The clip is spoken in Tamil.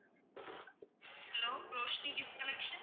hello Roshini gift collection